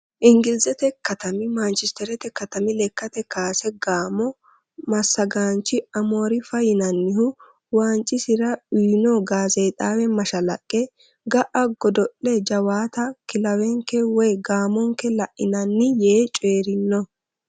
Ingilizete katami maanchistereete katami lekkate kaase gaamo massagaanchi amoorimi fa yinanni waancira uyino gaazeexaawe mashalaqqe. Ga"a godo'le jawaata kilawenke woyi gaamonke lainanni Yee coyirino.